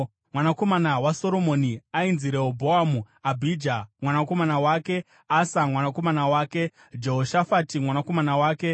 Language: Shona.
Mwanakomana waSoromoni ainzi Rehobhoamu, Abhija mwanakomana wake, Asa mwanakomana wake, Jehoshafati mwanakomana wake,